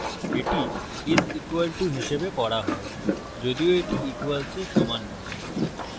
এটি is equal to হিসাবে পড়া হয় যদিও এটি equalsএর সমান নয়